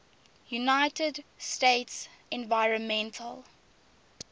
united states environmental